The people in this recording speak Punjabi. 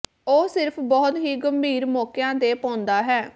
ਉਹ ਸਿਰਫ ਬਹੁਤ ਹੀ ਗੰਭੀਰ ਮੌਕਿਆਂ ਤੇ ਪਾਉਂਦਾ ਹੈ